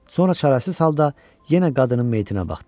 Sonra çarəsiz halda yenə qadının meyitinə baxdı.